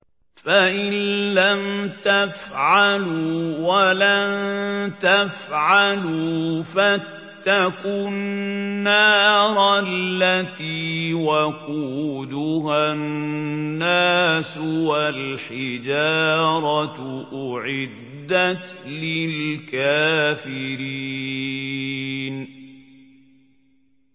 فَإِن لَّمْ تَفْعَلُوا وَلَن تَفْعَلُوا فَاتَّقُوا النَّارَ الَّتِي وَقُودُهَا النَّاسُ وَالْحِجَارَةُ ۖ أُعِدَّتْ لِلْكَافِرِينَ